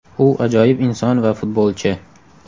U ajoyib inson va futbolchi.